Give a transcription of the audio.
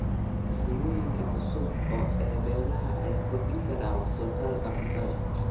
Farsamooyinka cusub ee beeraha ayaa kordhin kara wax soo saarka cuntada.